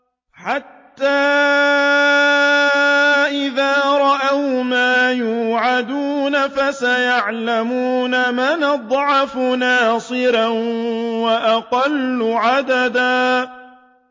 حَتَّىٰ إِذَا رَأَوْا مَا يُوعَدُونَ فَسَيَعْلَمُونَ مَنْ أَضْعَفُ نَاصِرًا وَأَقَلُّ عَدَدًا